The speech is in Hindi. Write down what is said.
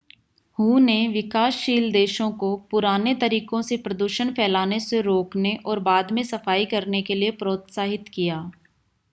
हू ने विकासशील देशों को पुराने तरीकों से प्रदूषण फैलाने से रोकने और बाद में सफाई करने के लिए प्रोत्साहित किया।